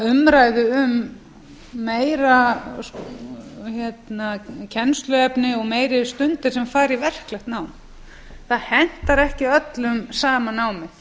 umræðu um meira kennsluefni og meiri stundir sem fari í verklegu nám það hentar ekki öllum sama námið